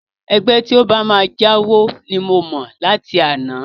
Ẹgbẹ́ tí ó bá máa jáwo ni mo mọ̀ láti àná